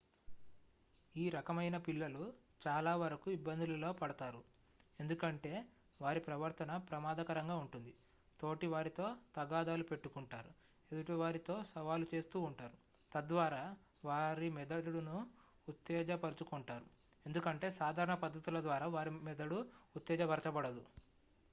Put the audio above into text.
"ఈ రకమయిన పిల్లలు చాలా వరకు ఇబ్బందులలో పడతారు ఎందుకంటే వారి "ప్రవర్తన ప్రమాదకరంగా ఉంటుంది తోటి వారితో తగాదాలు పెట్టుకొంటారు ఎదుటివారితో సవాలు చేస్తూ ఉంటారు" తద్వారా వారి మెదడును ఉత్తేజపరచుకొంటారు ఎందుకంటే సాధారణ పద్ధతుల ద్వారా వారి మెదడు ఉత్తేజపరచబడదు.